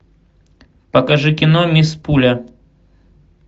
покажи кино мисс пуля